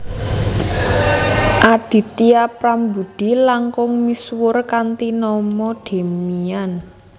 Aditya Prambudhi langkung misuwur kanthi nama Demian